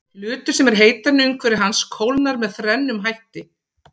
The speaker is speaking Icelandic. Hlutur sem er heitari en umhverfi hans kólnar með þrennum hætti.